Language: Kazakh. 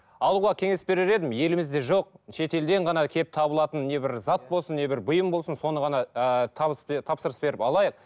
алуға кеңес берер едім елімізде жоқ шетелден ғана келіп табылатын не бір зат болсын не бір бұйым болсын соны ғана ыыы тапсырыс беріп алайық